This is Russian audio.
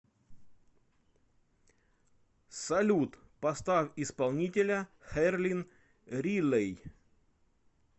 салют поставь исполнителя херлин рилей